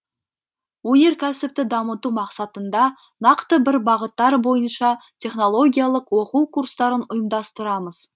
өнеркәсіпті дамыту мақсатында нақты бір бағыттар бойынша технологиялық оқу курстарын ұйымдастырамыз